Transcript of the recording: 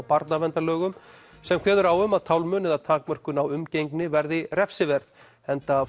barnaverndarlögum sem kveður á um að tálmun eða takmörkun á umgengni verði refsiverð enda